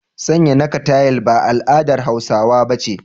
Sanya naka tayil ba al'adar Hausawa ba ce.